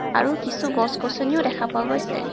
আৰু কিছু গছ গছনীও দেখা পোৱা গৈছে.